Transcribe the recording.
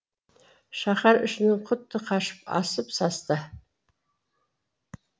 шаһар ішінің құты қашып асып састы